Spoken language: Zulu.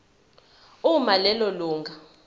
uma lelo lunga